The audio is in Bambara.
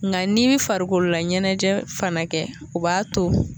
Nka ni ye farikolola ɲɛnajɛ fana kɛ, o b'a to